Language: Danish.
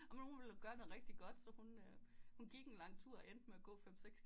Amen hun ville gøre noget rigtig godt så hun øh hun gik en lang tur og endte med at gå en fem seks